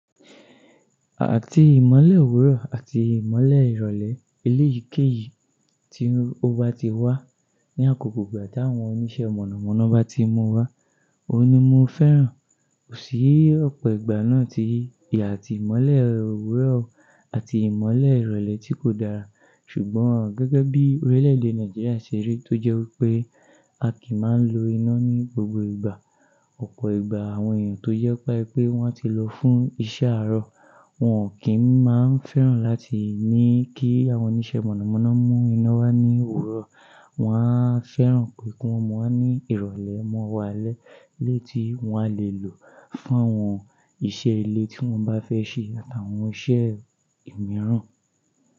Àti ìmọ́lẹ̀ òwúrọ̀ àti ìmọ́lẹ̀ ìrọ̀lẹ́ ilé ìkéyìí tí ó bá ti wá ní àkókò ìgbà táwọn oníṣẹ́ mọ̀nàmọ́ná bá ti mú wá, òun ni mo fẹ́ràn. Kò sí ọ̀pọ̀ ìgbà náà tí ìyà àti ìmọ́lẹ̀ òwúrọ̀ àti ìmọ́lẹ̀ ìrọ̀lẹ́ tí kò dára. Ṣùgbọ́n gẹ́gẹ́ bí orílẹ̀èdè Nàìjíríà ṣe rí tó jẹ́ wípé a kì í máa ń lo iná ní gbogbo ìgbà. Ọ̀pọ̀ ìgbà àwọn èèyàn tó jẹ́pá ẹ pé wọ́n ti lọ fún iṣẹ́ àárọ̀, wọ́n ò kí ń máa ń fẹ́ràn láti ní kí àwọn oníṣẹ́ mọ̀nàmọ́ná mú iná wá ní òwúrọ̀. Wọ́n á fẹ́ràn pé kí wọ́n máa ní ìrọ̀lẹ́ mọ́ o'walẹ́ léyi tí wọ́n á le lò fún àwọn iṣẹ́ ilé tí wọ́n bá fẹ́ ṣe àtàwọn iṣẹ́ ìmíràn.